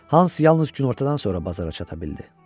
Hans yalnız günortadan sonra bazara çata bildi.